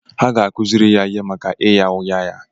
Ha ga-akụziri ya ihe maka ịgha ụgha ya.